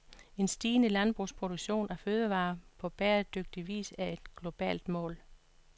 En stigende landbrugsproduktion af fødevarer på bæredygtig vis er et globalt mål.